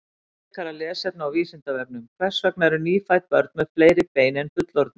Frekara lesefni á Vísindavefnum: Hvers vegna eru nýfædd börn með fleiri bein en fullorðnir?